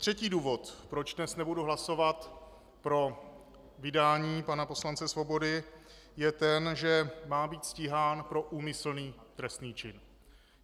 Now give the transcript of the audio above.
Třetí důvod, proč dnes nebudu hlasovat pro vydání pana poslance Svobody, je ten, že má být stíhán pro úmyslný trestný čin.